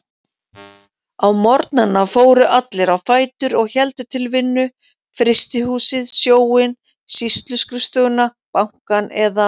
Á morgnana fóru allir á fætur og héldu til vinnu: Frystihúsið, Sjóinn, Sýsluskrifstofuna, Bankann eða